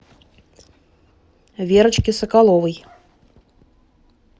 верочке соколовой